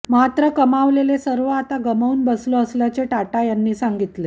मात्र कमावलेले सर्व आता गमावून बसलो असल्याचे टाटा यांनी सांगितले